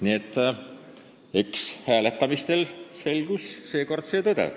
Nii et eks hääletamisel selgus ka seekord tõde.